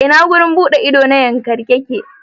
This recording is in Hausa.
A ina wurin yawon buɗe na Yankari yake?